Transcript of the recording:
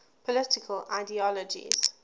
political ideologies